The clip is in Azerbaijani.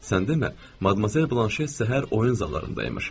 Sən demə, Madmazel Banşel səhər oyun zallarında imiş.